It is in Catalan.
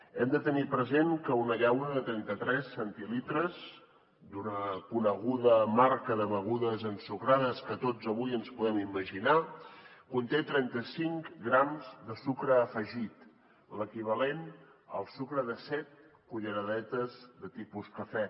hem de tenir present que una llauna de trenta tres centilitres d’una coneguda marca de begudes ensucrades que tots avui ens podem imaginar conté trenta cinc grams de sucre afegit l’equivalent al sucre de set culleradetes de tipus cafè